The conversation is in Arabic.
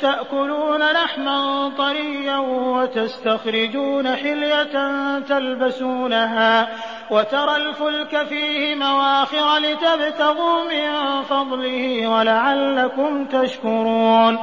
تَأْكُلُونَ لَحْمًا طَرِيًّا وَتَسْتَخْرِجُونَ حِلْيَةً تَلْبَسُونَهَا ۖ وَتَرَى الْفُلْكَ فِيهِ مَوَاخِرَ لِتَبْتَغُوا مِن فَضْلِهِ وَلَعَلَّكُمْ تَشْكُرُونَ